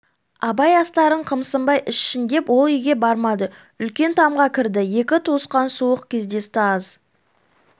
абай астарын қымсынбай ішсін деп ол үйге бармады үлкен тамға кірді екі туысқан суық кездесті аз